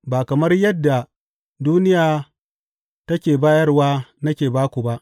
Ba kamar yadda duniya take bayarwa nake ba ku ba.